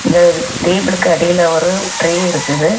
இந்த டேபிளுக்கு அடியில ஒரு ட்ரே இருக்குது.